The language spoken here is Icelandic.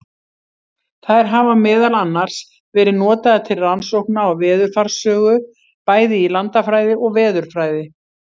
Þær hafa meðal annars verið notaðar til rannsókna á veðurfarssögu, bæði í landafræði og veðurfræði.